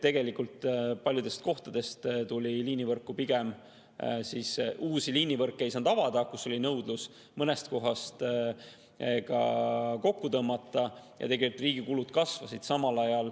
Tegelikult ei saanud uusi liinivõrke avada paljudes kohtades, kus oli nõudlus, mõnes kohas tuli ka kokku tõmmata ja riigi kulud kasvasid samal ajal.